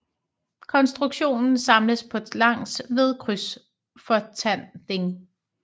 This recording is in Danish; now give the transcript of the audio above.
Konstruktionen samles på langs ved krydsfortanding